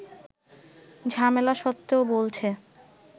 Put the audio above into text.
ঝামেলা সত্ত্বেও বলছে